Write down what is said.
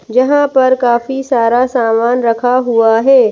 जहाँ पर काफी सारा सामान रखा हुआ है।